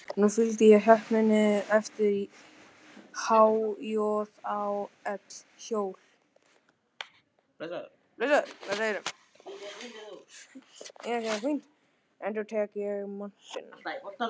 Nú fylgdi ég heppninni eftir: há-joð-ó-ell: hjól, endurtók ég montinn.